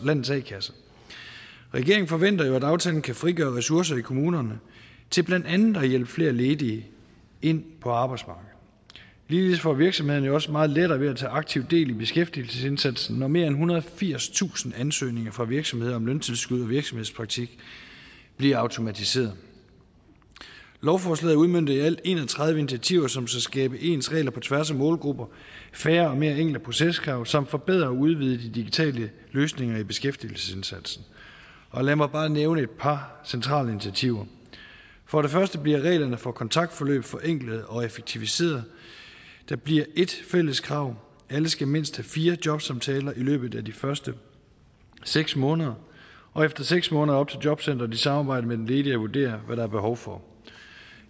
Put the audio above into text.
landets a kasser regeringen forventer jo at aftalen kan frigøre ressourcer i kommunerne til blandt andet at hjælpe flere ledige ind på arbejdsmarkedet ligeledes får virksomhederne også meget lettere ved at tage aktivt del i beskæftigelsesindsatsen når mere end ethundrede og firstusind ansøgninger fra virksomheder om løntilskud og virksomhedspraktik bliver automatiseret lovforslaget udmønter i alt en og tredive initiativer som skal skabe ens regler på tværs af målgrupper og færre og mere enkle proceskrav samt forbedre og udvide de digitale løsninger i beskæftigelsesindsatsen og lad mig bare nævne et par centrale initiativer for det første bliver reglerne for kontaktforløb forenklet og effektiviseret der bliver ét fælles krav alle skal mindst have fire jobsamtaler i løbet af de første seks måneder og efter seks måneder op til jobcenteret i samarbejde med den ledige at vurdere hvad der er behov for